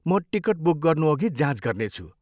म ticket book गर्नुअघि जाँच गर्नेछु।